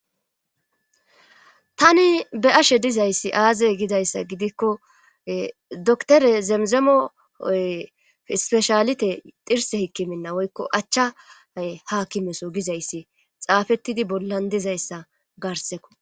Tani be ashe dizayssi aazey gidayssa gidikko dore zemzemooy ispeshalite xirse hikki minna woykko achchay haakimeso gizayssi xaafettidi bollan dizayssa garseko.